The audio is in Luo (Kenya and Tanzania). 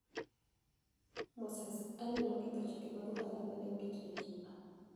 Moses: Ali noketho chike mag ohala ma ni e oket ni e Cuba